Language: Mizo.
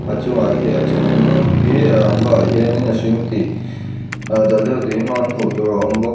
a chungah hia a chunggg hi rangva ah hianin a hring tih aa dal deuh tih hmang hmuh tur a awm bawk.